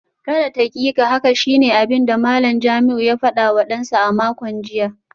Kada taƙiƙa haka shine abinda Malam Jamiu ya fadawa dansa a makon jiya